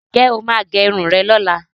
Ǹ jẹ́ o máa gẹ irun rẹ lọ́la?